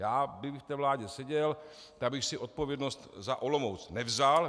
Já kdybych v té vládě seděl, tak bych si odpovědnost za Olomouc nevzal.